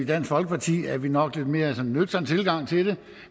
dansk folkeparti har vi nok mere nøgtern tilgang til det